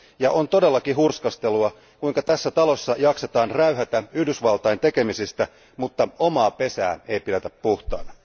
Ja on todellakin hurskastelua, kuinka tässä talossa jaksetaan räyhätä Yhdysvaltain tekemisistä, mutta omaa pesää ei pidetä puhtaana.